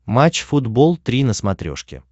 матч футбол три на смотрешке